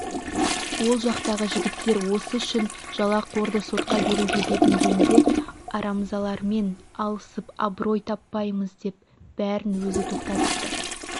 ол жақтағы жігіттер осы үшін жалақорды сотқа беруге бекінгенде арамзалармен алысып абырой тапаймыз деп бәрін өзі тоқтатыпты